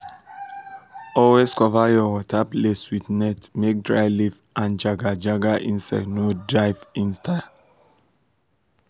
always cover your water place with net make dry leaf and jaga-jaga insect no dive enter.